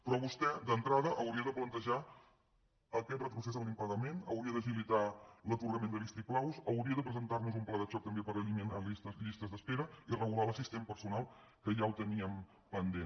però vostè d’entrada hauria de plantejar aquest retrocés en l’impagament hauria d’agilitar l’atorgament de vistiplaus hauria de presentar nos un pla de xoc també per eliminar llistes d’espera i regular l’assistent personal que ja ho teníem pendent